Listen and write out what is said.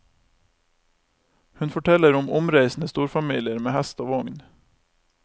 Hun forteller om omreisende storfamilier med hest og vogn.